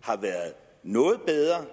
har været noget bedre